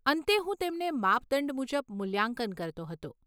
અંતે, હું તેમને માપદંડ મુજબ મૂલ્યાંકન કરતો હતો.